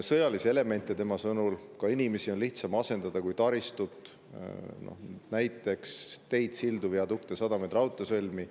Sõjalisi elemente, tema sõnul ka inimesi, on lihtsam asendada kui taristut, näiteks teid, sildu, viadukte, sadamaid, raudteesõlmi.